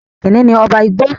kìnìún ní ọba igbó.